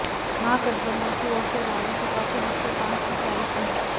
महागठबंधन की ओर से रालोसपा के हिस्से पांच सीटें आई थीं